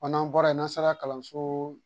n'an bɔra yen n'an sera kalanso